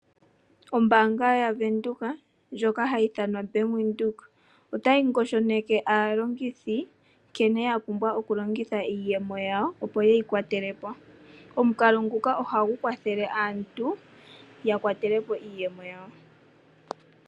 Ombanga yaVenduka ndjoka hayi ithanwa Bank Windhoek otayi ngosho neke aalongithi nkene yapumbwa oku longitha iiyemo yawo opo yeyi kwatele po. Omukalo nguka ohagu kwathelele aantu ya kwatele po iiyemo yawo.